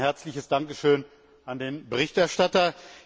Ein herzliches Dankeschön auch an den Berichterstatter.